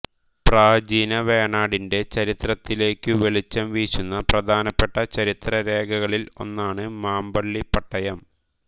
പ്രാചീന വേണാടിന്റെ ചരിത്രത്തിലേക്കു വെളിച്ചം വീശുന്ന പ്രധാനപ്പെട്ട ചരിത്രരേഖകളിൽ ഒന്നാണു് മാമ്പള്ളി പട്ടയം